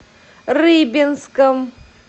рыбинском